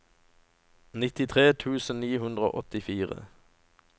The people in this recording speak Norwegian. nittitre tusen ni hundre og åttifire